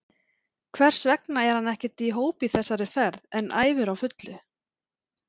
Hversvegna er hann ekkert í hóp í þessari fer en æfir á fullu?